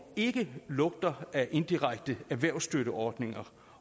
ikke lugter af indirekte erhvervsstøtteordninger